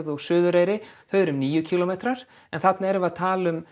og Suðureyri eru níu kílómetrar en hérna erum við að tala um